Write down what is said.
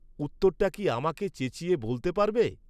উত্তরটা কি আমাকে চেঁচিয়ে বলতে পারবে?